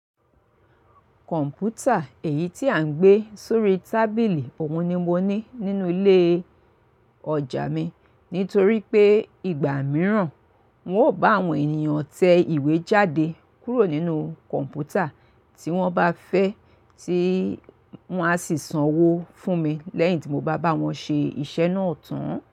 Kọ̀m̀pútà èyí tí à ń gbé sórí tábìlì, òun ni mo ní nínú ilé-ọjà mi. Nítorí pé ìgbà mìíràn, ń ò bá àwọn ènìyàn tẹ ìwé jáde kúrò nínú kọ̀m̀pútà, tí wọ́n bá fẹ́, tí wọ́n á sì sanwó fún mi lẹ́yìn tí mo bá bá wọn ṣe iṣẹ́ náà tán.